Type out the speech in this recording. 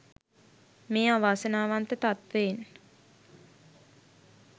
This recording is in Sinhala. මේ අවාසනාවන්ත තත්ත්වයෙන්